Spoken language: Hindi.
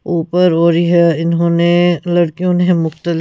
ऊपर हो रही है इन्होंने लड़कियों ने मुक्तल--